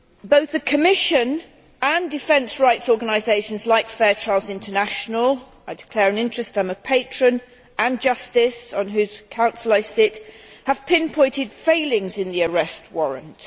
Both the Commission and defence rights organisations like Fair Trials International I declare an interest, I am a patron and Justice, on whose council I sit, have pinpointed failings in the arrest warrant.